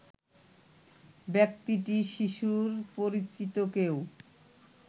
ব্যক্তিটি শিশুর পরিচিত কেউ